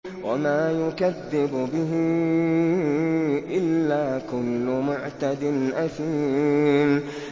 وَمَا يُكَذِّبُ بِهِ إِلَّا كُلُّ مُعْتَدٍ أَثِيمٍ